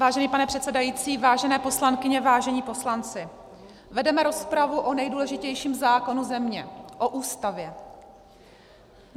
Vážený pane předsedající, vážené poslankyně, vážení poslanci, vedeme rozpravu o nejdůležitějším zákonu země, o Ústavě.